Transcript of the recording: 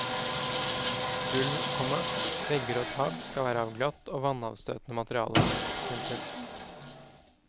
Gulv, komma vegger og tak skal være av glatt og vannavstøtende materiale. punktum